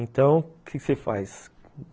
Então, o que que você faz?